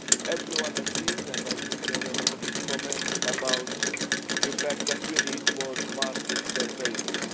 Everyone agreed, and I think there were a lot of comments about the fact that we need more market surveillance.